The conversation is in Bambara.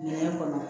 Minɛn kɔnɔ